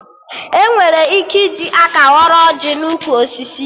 Enwere ike iji aka ghọrọ ọjị n'ukwu osisi ya